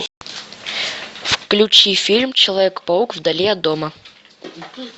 включи фильм человек паук вдали от дома